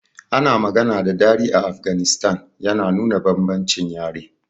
Ana magana da Dari a Afghanistan, yana nuna bambancin yare.